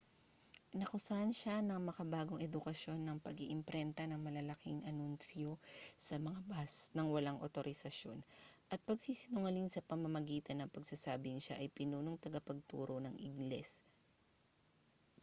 inakusahan siya ng makabagong edukasyon ng pag-iimprenta ng malalaking anunsyo sa mga bus nang walang awtorisasyon at pagsisinungaling sa pamamagitan ng pagsasabing siya ang pinunong tagapagturo ng ingles